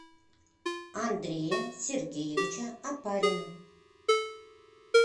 андрея сергеевича опарина